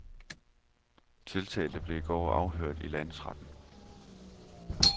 Tiltalte blev i går afhørt i landsretten.